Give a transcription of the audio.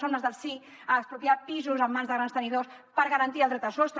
som les del sí a expropiar pisos en mans de grans tenidors per garantir el dret a sostre